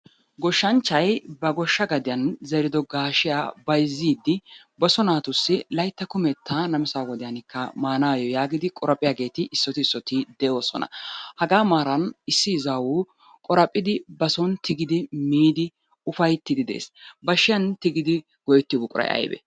Goshanchchay ba gosha gaddiyan zerido gaashiya bayzziidi ba so naatussi laytta kumettaa namissaa wodiyan maanayo yaagidi qoraphiyaageeti issooti issoti de'oosona. Hagaa maaran issi izzaawu qoraphidi bason tigidi miidi ufayttidi de'ees. bashiyan tigidi go'ettiyo buqquray aybee?